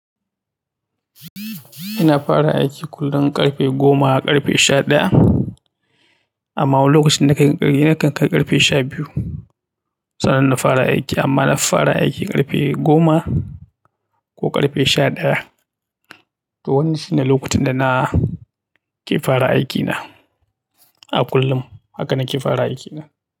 Ina fara aiki kullum ƙarfe goma ƙarfe sha ɗaya, amma wani lokaci nakan kai ƙarfe sha biyu sannan na fara aiki, amma nafi fara aiki ƙarfe goma ko ƙarfe sha ɗaya. To wannan shine lokacin da nake fara aikina a kullum haka nake fara aikina.